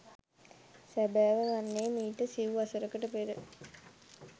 සැබෑව වන්නේ මීට සිව් වසකට පෙර